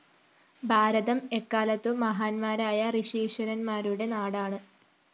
ഭാരതം എക്കാലത്തും മഹാന്മാരായ ഋഷീശ്വരന്മാരുടെ നാടാണ്